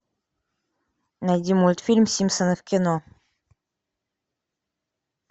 найди мультфильм симпсоны в кино